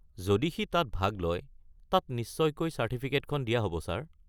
যদি সি তাত ভাগ লয়, তাক নিশ্চয়কৈ চাৰ্টিফিকেটখন দিয়া হ'ব ছাৰ।